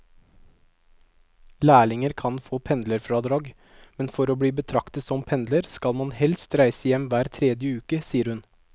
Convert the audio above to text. Lærlinger kan få pendlerfradrag, men for å bli betraktet som pendler skal man helst reise hjem hver tredje uke, sier hun.